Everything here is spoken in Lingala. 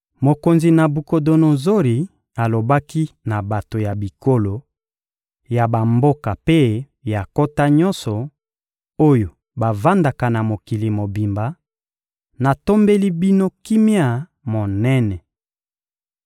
Mokonzi Nabukodonozori alobaki na bato ya bikolo, ya bamboka mpe ya nkota nyonso, oyo bavandaka na mokili mobimba: Natombeli bino kimia monene!